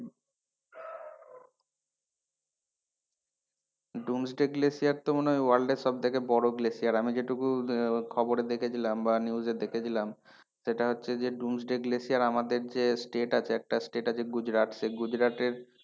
Doomsday glacier তো মনে হয় world এর সবথেকে বড় glacier আমি যেটুকু খবরে দেখেছিলাম বা news এ দেখেছিলাম সেটা হচ্ছে যে Doomsday glacier আমাদের যে state আছে একটা state আছে গুজরাট সেই গুজরাটের,